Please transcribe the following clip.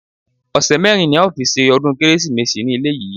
Ọ̀sẹ̀ mérin ní a ó fi ṣọdún kérésìmesì ní ilé yìí.